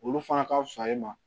Olu fana ka fisa e ma